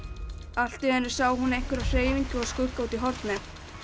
allt í einu sá hún einhverja hreyfingu og skugga út í horni